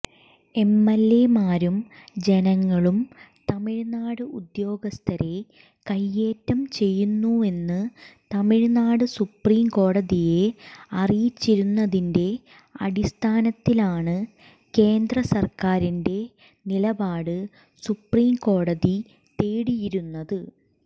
എംഎല്എമാരും ജനങ്ങളും തമിഴ്നാട് ഉദ്യോഗസ്ഥരെ കൈയ്യേറ്റം ചെയ്യുന്നുവെന്ന് തമിഴ്നാട് സുപ്രീംകോടതിയെ അറിയിച്ചിരുന്നതിന്റെ അടിസ്ഥാനത്തിലാണ് കേന്ദ്രസര്ക്കാരിന്റെ നിലപാട് സുപ്രീംകോടതി തേടിയിരുന്നത്